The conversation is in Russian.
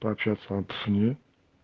пообщаться об цене